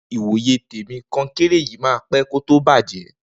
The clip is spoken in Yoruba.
Ni wó yé tẹmi, kókẹńrẹ yìí mà pẹ ko to bàjẹ